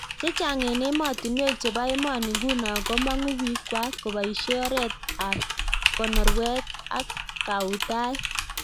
Chechang eng emotinwek chepo emonii nguno komanguu piik kwaak kopaishee oreet app konorweet ak kahutaet